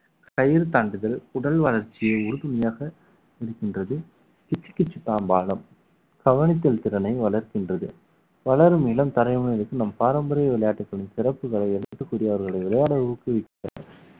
கயிறு தாண்டுதல் உடல் வளர்ச்சி உறுதுணையாக இருக்கின்றது கீச்சு கீச்சு தாம்பாலம் கவனித்தல் திறனை வளர்க்கின்றது வளரும் இளம் தலைமுறையினருக்கு நம் பாரம்பரிய விளையாட்டுகளின் சிறப்புகளை எடுத்து கூறி அவர்களை விளையாட ஊக்குவிக்க